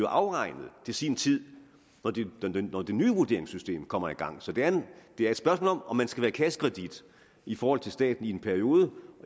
afregnet til sin tid når det nye vurderingssystem kommer i gang så det er et spørgsmål om om man skal være kassekredit i forhold til staten i en periode og